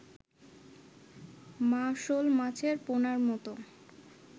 মা-শোল মাছের পোনার মতো